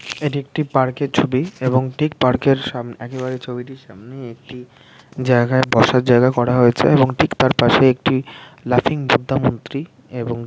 এটি একটি পার্ক এর ছবি এবং ঠিক পার্কের এর সামনে একেবারে ছবিটির সামনে একটি জায়গায় বসার জায়গায় বসার জায়গা করা হয়েছে এবং তার ঠিক পাশে একটি লাফিং বুদ্ধা মূর্তি এবং --